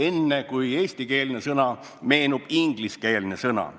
Enne, kui meenub eestikeelne sõna, meenub ingliskeelne sõna.